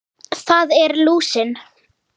Það er lúsin.